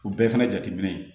U bɛɛ fɛnɛ jateminɛ ye